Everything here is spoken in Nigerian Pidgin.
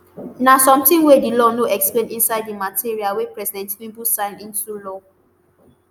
na somtin wey di law no explain inside di material wey president tinubu sign into law